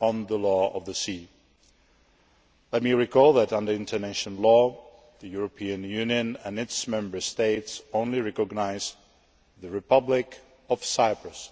on the Law of the Sea. Let me recall that, under international law, the European Union and its Member States only recognise the Republic of Cyprus